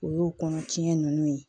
O y'o kɔnɔ tiɲɛn nunnu ye